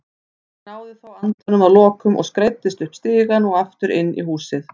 Ég náði þó andanum að lokum og skreiddist upp stigann og aftur inn í húsið.